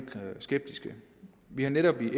skeptiske vi har netop i